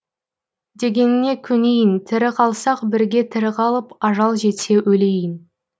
дегеніңе көнейін тірі қалсақ бірге тірі қалып ажал жетсе өлейін